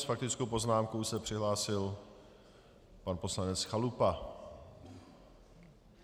S faktickou poznámkou se přihlásil pan poslanec Chalupa.